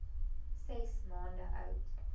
ses maande oud